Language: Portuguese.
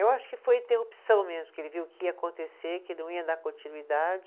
Eu acho que foi interrupção mesmo, porque ele viu que ia acontecer, que não ia dar continuidade.